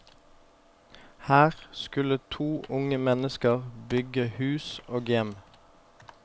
Her skulle to unge mennesker bygge hus og hjem.